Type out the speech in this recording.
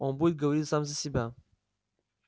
он будет говорить сам за себя